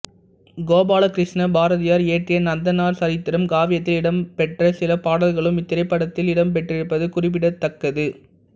கோபாலகிருஷ்ண பாரதியார் இயற்றிய நந்தனார் சரித்திரம் காவியத்தில் இடம்பெற்ற சில பாடல்களும் இத்திரைப்படத்தில் இடம்பெற்றிருப்பது குறிப்பிடத்தக்கது